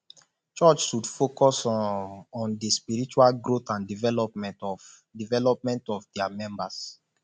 church should focus um on di spiritual growth and development of development of dia members